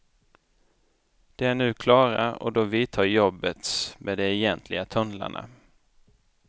De är nu klara, och då vidtar jobbet med de egentliga tunnlarna.